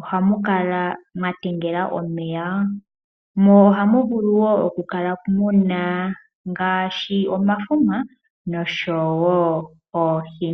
ohamu kala mwa tengela omeya mo ohamu vulu oku kala muna ngaashi omafuma noohi.